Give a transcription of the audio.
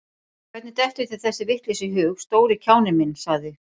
Hvernig dettur þér þessi vitleysa í hug, stóri kjáninn minn sagði